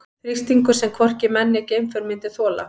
Þrýstingur sem hvorki menn né geimför myndu þola.